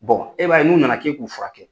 e b'a ye n'u na na k'e k'u furakɛ.